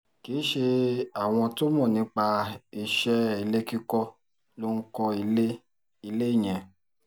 kì í ṣe àwọn tó mọ̀ nípa iṣẹ́ ilé kíkọ́ ló ń kọ́ ilé ilé yẹn